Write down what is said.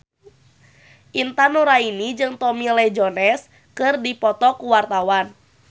Intan Nuraini jeung Tommy Lee Jones keur dipoto ku wartawan